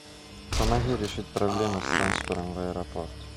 помоги решить проблему с трансфером в аэропорт